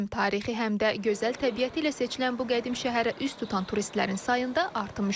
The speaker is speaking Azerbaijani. Həm tarixi, həm də gözəl təbiəti ilə seçilən bu qədim şəhərə üz tutan turistlərin sayında artım müşahidə olunur.